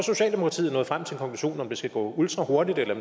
om det skal gå ultrahurtigt eller